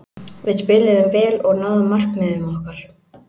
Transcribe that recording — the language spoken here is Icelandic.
Við spiluðum vel og náðum markmiðum okkar.